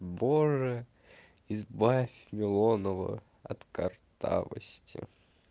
боже избавь милонова от картавости